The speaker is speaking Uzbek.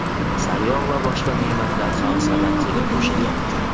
sariyog‘ va boshqa ne’matlar ham savatchaga qo‘shilyapti.